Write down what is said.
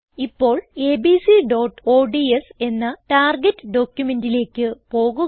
ഇപ്പോൾ abcഓഡ്സ് എന്ന ടാർഗെറ്റ് ഡോക്യുമെന്റിലേക്ക് പോകുക